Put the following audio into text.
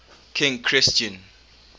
king christian